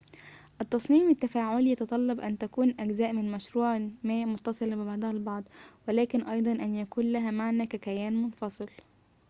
التصميم التفاعلي يتطلب أن تكون أجزاء من مشروع ما متصلة ببعضها البعض ولكن أيضاً أن يكون لها معنى ككيان منفصل